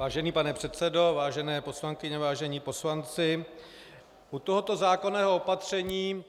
Vážený pane předsedo, vážené poslankyně, vážení poslanci, u tohoto zákonného opatření